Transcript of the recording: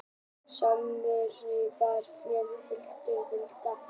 Sængurverið var með hekluðu milliverki og rósrauðir stafirnir í koddaverinu sögðu: Góða nótt.